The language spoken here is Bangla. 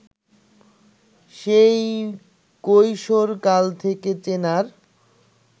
সেই কৈশোরকাল থেকে চেনার